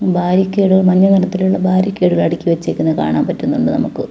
ബാരിക്കേഡുകൾ മഞ്ഞ നിറത്തിലുള്ള ബാരിക്കേഡുകൾ അടുക്കി വെച്ചേക്കുന്നത് കാണാൻ പറ്റുന്നുണ്ട് നമുക്ക്.